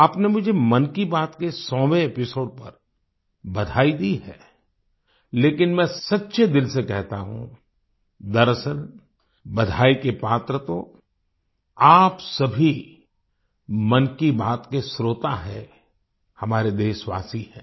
आपने मुझे मन की बात के सौवें एपिसोड पर बधाई दी है लेकिन मैं सच्चे दिल से कहता हूँ दरअसल बधाई के पात्र तो आप सभी मन की बात के श्रोता हैं हमारे देशवासी हैं